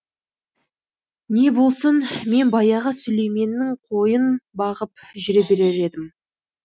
не болсын мен баяғы сүлейменнің қойын бағып жүре берер едім